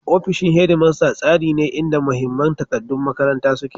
Ofishin Headmaster tsari ne inda mahimman takaddun makaranta suke.